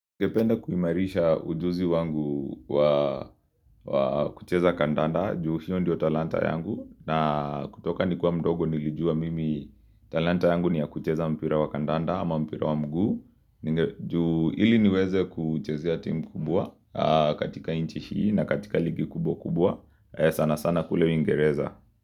Ningependa kuimarisha ujuzi wangu wa kucheza kandanda juu hiyo ndio talanta yangu na kutoka nikiwa mdogo nilijua mimi talanta yangu ni ya kucheza mpira wa kandanda ama mpira wa mguu juu ili niweze kuchezea timu kubwa katika nchi hii na katika ligi kubwa kubwa sana sana kule uingereza.